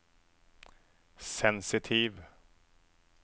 sensitiv